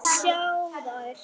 Ég vil ekki sjá þær.